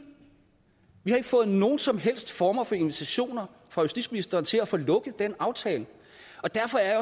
vi har ikke fået nogen som helst former for invitationer fra justitsministeren til at få lukket den aftale derfor er jeg